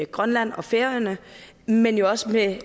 grønland og færøerne men jo også med